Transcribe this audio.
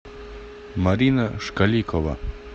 марина шкаликова